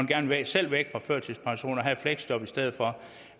gerne selv væk fra førtidspension og have et fleksjob i stedet for